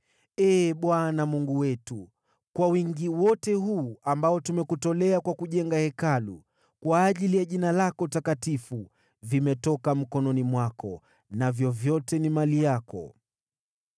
Ee Bwana Mungu wetu, kwa wingi wote huu ambao tumekutolea kwa kujenga Hekalu kwa ajili ya Jina lako Takatifu, vimetoka mkononi mwako, navyo vyote ni mali yako.